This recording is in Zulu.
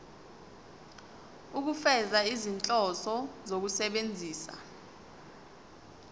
ukufeza izinhloso zokusebenzisa